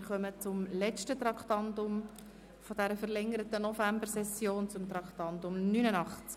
Wir kommen zum letzten Traktandum dieser verlängerten Novembersession, zum Traktandum 89 «